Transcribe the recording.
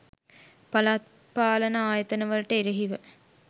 පළාත් පාලන ආයතන වලට එරෙහිව